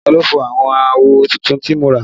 Ta ló fọ́ àwọn àwo tuntun tí mo rà?